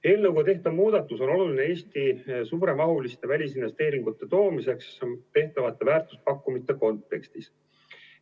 Eelnõuga tehtav muudatus on oluline Eestisse suuremahuliste välisinvesteeringute toomiseks tehtavate väärtuspakkumiste kontekstis.